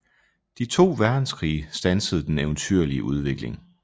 De to verdenskrige standsede den eventyrlige udvikling